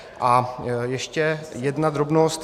A ještě jedna drobnost.